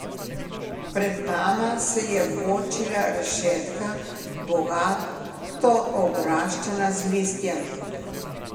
Pred nama se je bočila rešetka, bogato obraščena z listjem.